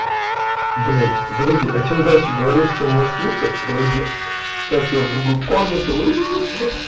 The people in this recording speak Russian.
блядь подожди а чем дальше говоришь все может лучше подожди сейчас я в другую комнату уйду